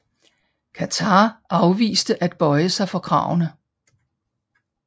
Qatar afviste at bøje sig for kravene